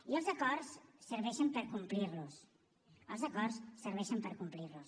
i els acords serveixen per complir los els acords serveixen per complir los